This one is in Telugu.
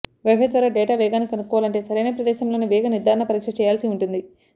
వైఫై ద్వారా డేటా వేగాన్ని కనుక్కోవాలంటే సరైన ప్రదేశంలోనే వేగ నిర్ధారణ పరీక్ష చేయాల్సి ఉంటుంది